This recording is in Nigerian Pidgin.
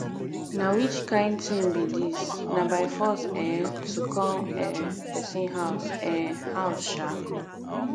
na which kin rush be dis na by force um to come um person house um house um